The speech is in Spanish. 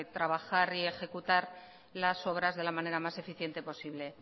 trabajar y ejecutar las obras de la manera más eficiente posible